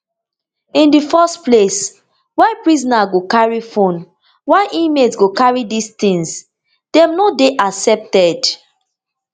in di first place why prisoner go carry phone why inmate go carry dis tins dem no dey accepted